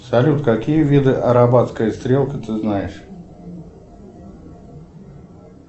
салют какие виды арабатская стрелка ты знаешь